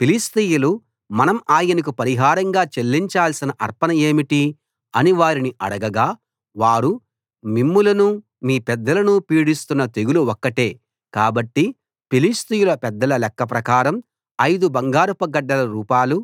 ఫిలిష్తీయులు మనం ఆయనకు పరిహారంగా చెల్లించాల్సిన అర్పణ ఏమిటి అని వారిని అడగగా వారు మిమ్మలనూ మీ పెద్దలనూ పీడిస్తున్న తెగులు ఒక్కటే కాబట్టి ఫిలిష్తీయుల పెద్దల లెక్క ప్రకారం ఐదు బంగారపు గడ్డల రూపాలు